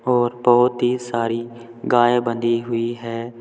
और बहुत ही सारी गाय बंधी हुई है।